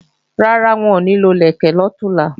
Rárá, n ò ní lo ìlẹ̀kẹ̀ lọ̀túnla